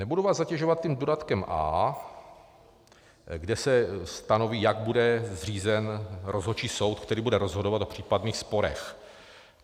Nebudu vás zatěžovat tím dodatkem A, kde se stanoví, jak bude zřízen rozhodčí soud, který bude rozhodovat o případných sporech.